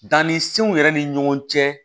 Danni senw yɛrɛ ni ɲɔgɔn cɛ